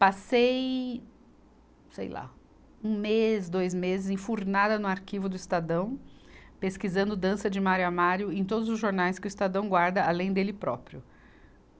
Passei, sei lá, um mês, dois meses, enfurnada no arquivo do Estadão, pesquisando dança de Mário a Mário em todos os jornais que o Estadão guarda, além dele próprio.